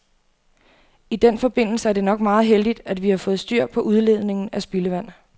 I den forbindelse er det nok meget heldigt, at vi har fået styr på udledningen af spildevand.